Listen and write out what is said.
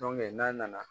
n'a nana